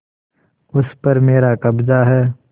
उस पर मेरा कब्जा है